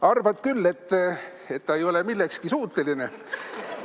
Arvad küll, et ta ei ole millekski suuteline.